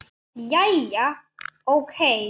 Jæja, ókei.